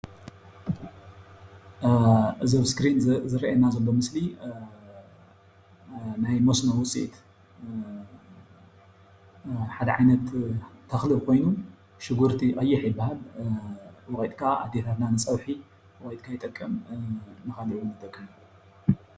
እዚ ኣብ እስክሪን ዝረአየና ዘሎ ምስሊ ናይ መስኖ ውፅኢት ሓደ ዓይነት ተክሊ ኮይኑ ሽጉርቲ ቀይሕ ይባሃል፡፡ ወቂጥካ ኣዴታትና ንፀብሒን ንካልእ እውን ይጠቅም እዩ፡፡